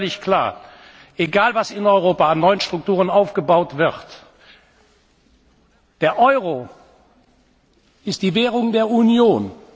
Eines ist völlig klar Egal, was in Europa an neuen Strukturen aufgebaut wird, der Euro ist die Währung der Union.